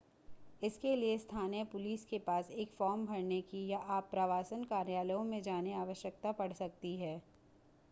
इसके लिए स्थानीय पुलिस के पास एक फॉर्म भरने की या आप्रवासन कार्यालयों में जाने आवश्यकता पड़ सकती है